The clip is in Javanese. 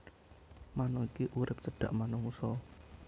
Manuk iki urip cedhak manungsa